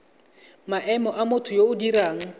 maemo motho yo o dirang